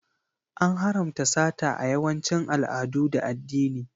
An haramta sata a yawancin al'adu da addini.